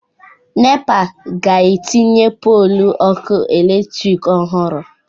Nepa ga-etinye pọlụ ọkụ eletrik ọhụrụ.